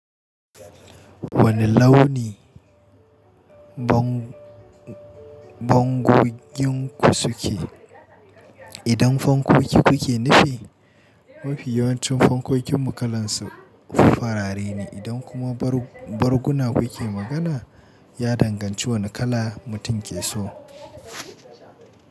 Wane launi bango-bangoyinku suke? Idan fankoki kuke nufi, mafi yawancin fankokinmu kalan su farare ne. Idan kuma barguna kuke magana, ya danganci wane kala mutum ke so.